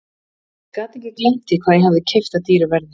Ég gat ekki gleymt því hvað ég hafði keypt það dýru verði.